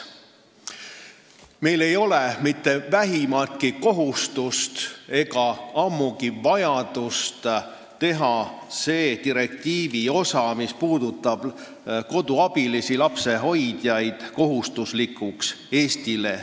Meil ei ole mitte vähimatki kohustust, ammugi vajadust teha see direktiivi osa, mis puudutab lapsehoidjaid-koduabilisi, Eestile kohustuslikuks.